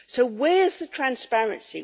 So where's the transparency?